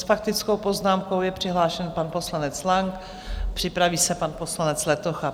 S faktickou poznámkou je přihlášen pan poslanec Lang, připraví se pan poslanec Letocha.